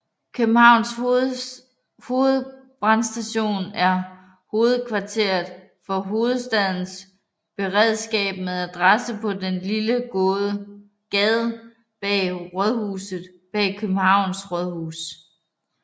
Københavns Hovedbrandstation er hovedkvarteret for Hovedstadens Beredskab med adresse på den lille gade Bag Rådhuset bag Københavns Rådhus